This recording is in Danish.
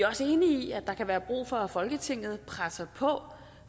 også enige i at der kan være brug for at folketinget presser på